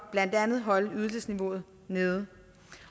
blandt andet at holde ydelsesniveauet nede